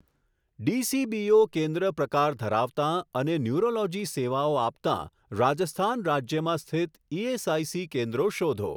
DCBO કેન્દ્ર પ્રકાર ધરાવતાં અને ન્યૂરોલોજી સેવાઓ આપતાં રાજસ્થાન રાજ્યમાં સ્થિત ઇએસઆઇસી કેન્દ્રો શોધો.